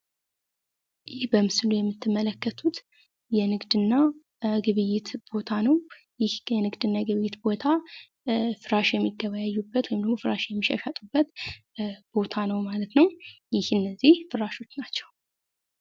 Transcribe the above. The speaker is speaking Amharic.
ይህ በምስሉ ላይ የምትመለከቱት የንግስ እና ግብይት ቦታ ነው። ይህ የንግድ እና የግብይት ቦታ ፍራሽ የሚገበያዩበት ወይም ደግሞ ፍራሽ የሚሻሻጡበት ቦታ ነው ማለት ነው። ይህ እነዚህ ፍራሾች ናቸው።